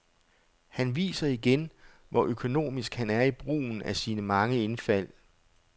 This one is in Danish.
Han viser igen, hvor økonomisk han er i brugen af sine mange indfald.